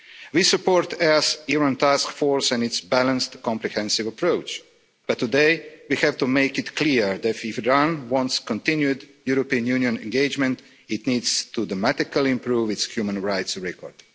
We support the EEAS Iran task force and its balanced comprehensive approach, but today we have to make it clear that if Iran wants continued European Union engagement, it needs to dramatically improve its human rights record.